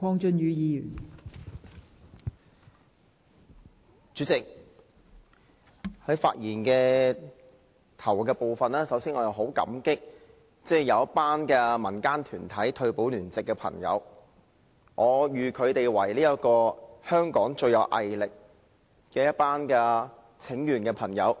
代理主席，在發言之初，我十分感謝民間一群來自爭取全民退休保障聯席的朋友，我認為他們是香港最有毅力進行請願的朋友。